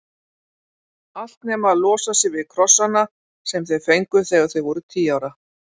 Allt nema að losa sig við krossana sem þau fengu þegar þau voru tíu ára.